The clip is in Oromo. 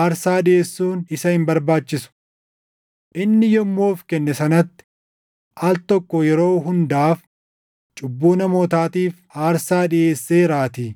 aarsaa dhiʼeessuun isa hin barbaachisu. Inni yommuu of kenne sanatti al tokko yeroo hundaaf cubbuu namootaatiif aarsaa dhiʼeesseeraatii.